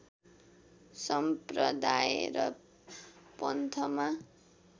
सम्प्रदाय र पन्थमा